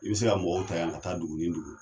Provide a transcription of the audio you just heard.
I bi se ka mɔgɔw ta yan ka taa duguni dugu.